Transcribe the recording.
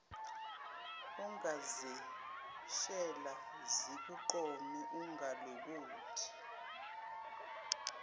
ongazeshela zikuqome ungalokothi